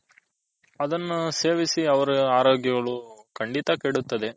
ಅದನು ಸೇವೆಸಿ ಅವರು ಆರೋಗ್ಯಗಳು ಕಂಡಿತ ಕೆಡುತ್ತದೆ.